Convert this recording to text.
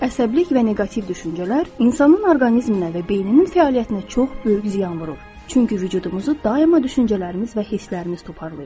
Əsəbilik və neqativ düşüncələr insanın orqanizminə və beyninin fəaliyyətinə çox böyük ziyan vurur, çünki vücudumuzu daima düşüncələrimiz və hisslərimiz toparlayır.